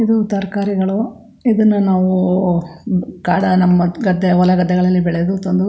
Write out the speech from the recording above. ಇದು ತರಕಾರಿಗಳು ಇದನ್ನಾ ನಾವು ಕಾಡ್ ನಮ್ಮ ಗದ್ದೆ ಹೊಲ ಗದ್ದೆಗಳಲ್ಲಿ ಬೆಳೆದು --